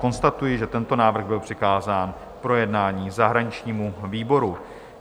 Konstatuji, že tento návrh byl přikázán k projednání zahraničnímu výboru.